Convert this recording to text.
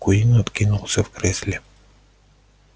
куинн откинулся в кресле